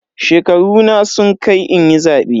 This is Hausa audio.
Shekaruna sun kai inyi zabe.